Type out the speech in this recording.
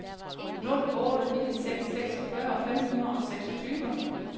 nul otte fire seks seksogfyrre fem hundrede og seksogtyve